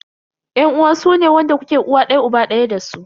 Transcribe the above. Yan uwa sune wanda kuke uwa daya uba daya dasu.